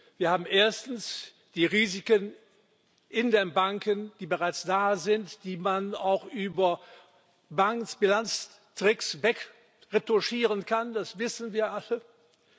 Wir haben erstens die Risiken in den Banken, die bereits da sind, die man auch über Bankbilanztricks wegretuschieren kann, das wissen wir alle.